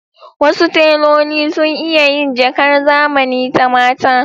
Wasu teloli sun iya yin jakar zamani ta mata.